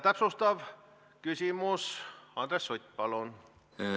Täpsustav küsimus, Andres Sutt, palun!